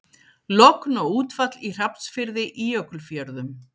Logn og útfall í Hrafnsfirði í Jökulfjörðum.